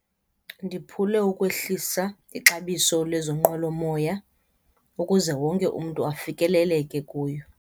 Ndiphule ukwehlisa ixabiso lezonqwelomoya ukuze wonke umntu afikeleleke kuyo.